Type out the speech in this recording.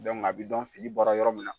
a bɛ dɔn fili bɔra yɔrɔ min na.